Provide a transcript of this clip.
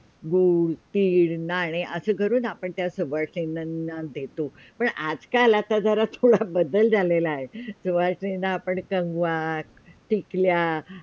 good, तिळ, नाणे असे करून त्यासोबत सवासिनींना देतो पण आज – काल आता जरा थोड बदल झालेला आहे सवासिनींना आपण कंगवा, टिकल्या